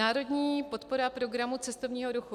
Národní podpora programu cestovního ruchu.